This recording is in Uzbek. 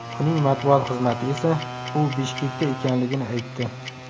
Uning matbuot xizmati esa u Bishkekda ekanligini aytdi.